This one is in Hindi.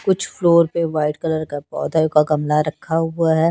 कुछ फ्लोर पे वाइट कलर के पौधा का गमला रखा हुआ है।